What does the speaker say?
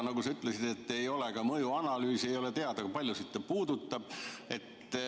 Nagu sa ütlesid, ei ole ka mõjuanalüüsi ega ole teada, kui paljusid inimesi see puudutab.